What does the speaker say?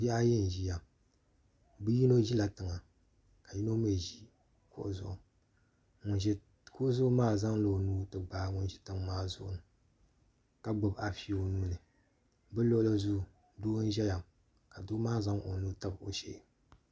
Bihi ayi n ʒiya yino ʒila tiŋa ka yino mii ʒi kuɣu zuɣu ŋun ʒi kuɣu zuɣu maa zaŋla o nuu ti gbaai ŋun ʒi tiŋ maa zuɣu ni ka gbubi afi o nuuni bi luɣuli zuɣu doo n ʒɛya ka doo maa zaŋ o nuu n tabi o shee